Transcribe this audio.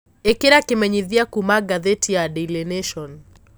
ĩkĩra kimenyithia kũma gathiti ya daily nation